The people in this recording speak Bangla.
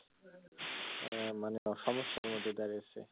আহ মানে সমস্যার মধ্যে দাড়িয়েছে,